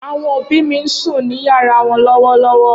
Awọn obi mi n sun ni yara wọn lọwọlọwọ.